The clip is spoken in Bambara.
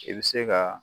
I bɛ se ka